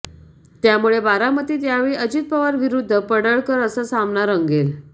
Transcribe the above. त्यामुळे बारामतीत यावेळी अजित पवार विरुद्ध पडळकर असा सामना रंगेल